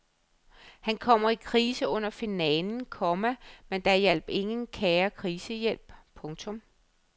Han kommer i krise under finalen, komma men der hjalp ingen kære krisehjælp. punktum